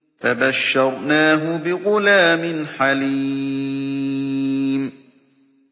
فَبَشَّرْنَاهُ بِغُلَامٍ حَلِيمٍ